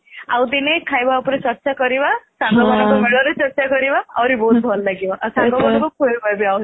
ଆଉ ଦିନେ ଖାଇବା ଉପରେ ଚର୍ଚ୍ଚା କରିବା ସାଙ୍ଗମାନଙ୍କ ମେଳରେ ଚର୍ଚ୍ଚା କରିବା ଆହୁରି ବହୁତ ଭଲ ଲାଗିବ ଆଉ ସାଙ୍ଗମାନଙ୍କୁ ଖୁଏଇବା ବି